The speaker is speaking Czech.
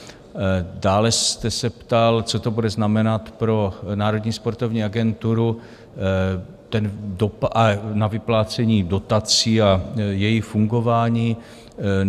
Dále jste se ptal, co to bude znamenat pro Národní sportovní agenturu, dopad na vyplácení dotací a její fungování.